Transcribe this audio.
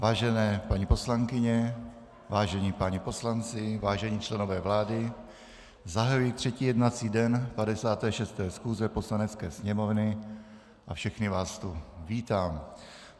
Vážené paní poslankyně, vážení páni poslanci, vážení členové vlády, zahajuji třetí jednací den 56. schůze Poslanecké sněmovny a všechny vás tu vítám.